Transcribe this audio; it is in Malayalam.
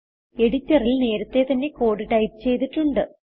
എഡിറ്ററിൽ നേരത്തെ തന്നെ കോഡ് ടൈപ്പ് ചെയ്തിട്ടുണ്ട്